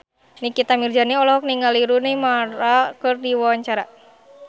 Nikita Mirzani olohok ningali Rooney Mara keur diwawancara